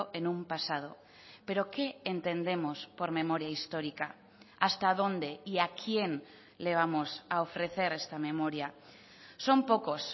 en un pasado pero qué entendemos por memoria histórica hasta dónde y a quién le vamos a ofrecer esta memoria son pocos